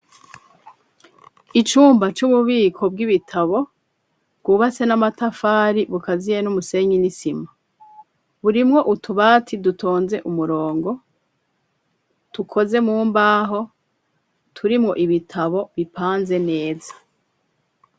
Icumba c'ububiko bw'ibitabo bwubatse n'amatafari, bukaziye n'umusenyi n'isima. Burimwo utubati dutonze umurongo, dukoze mu mbaho, turimwo ibitabo bipanze neza.